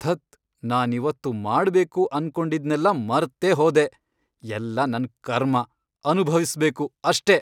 ಧತ್! ನಾನಿವತ್ತು ಮಾಡ್ಬೇಕು ಅನ್ಕೊಂಡಿದ್ನೆಲ್ಲ ಮರ್ತೇಹೋದೆ, ಎಲ್ಲ ನನ್ನ್ ಕರ್ಮ! ಅನುಭವ್ಸ್ಬೇಕು ಅಷ್ಟೇ!